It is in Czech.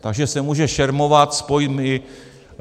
Takže se může šermovat s pojmy.